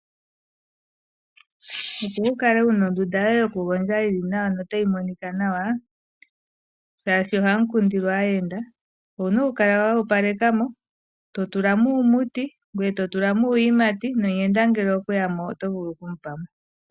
Opo wukale wuna ondunda yoye yokugondja yili nawa notayi monika nawa shaashi ohamu kundilwa aayenda owuna okukala woopaleka mo. Totulamo uumuti ngoye to tulamo uuyimati nomuyenda ngele okweya mo oto vulu okumupa mo.